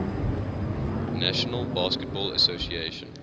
national basketball association